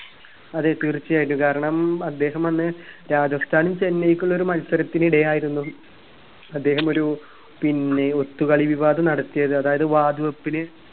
അതെ തീർച്ചയായിട്ടും കാരണം അദ്ദേഹമന്ന് രാജസ്ഥാൻ ചെന്നൈക്കുള്ള ഒരു മത്സരത്തിനിടെ ആയിരുന്നു അദ്ദേഹം ഒരു പിന്നെ ഒത്തുകളി വിവാദം നടത്തിയത് അതായത് വാതുവെപ്പിന്